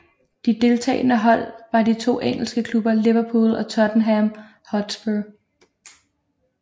De deltagende hold var de to engelske klubber Liverpool og Tottenham Hotspur